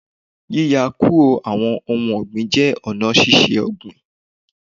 Yíya kúrò àwọn ohun ọ̀gbìn jẹ́ ọ̀nà ṣíṣe ọ̀gbìn